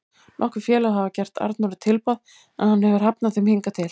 Nokkur félög hafa gert Arnóri tilboð en hann hefur hafnað þeim hingað til.